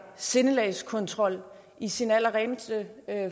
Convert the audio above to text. sindelagskontrol i sin allerreneste